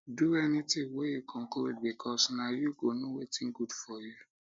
do anytin wey yu conclude bikos na yu go no wetin gud for yu